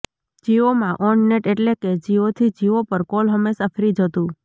જિઓમાં on net એટલે કે જિઓથી જિઓ પર કોલ હંમેશા ફ્રી જ હતું